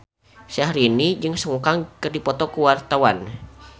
Syahrini jeung Sun Kang keur dipoto ku wartawan